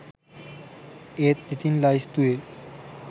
ඒත් ඉතිං ලැයිස්තුවේ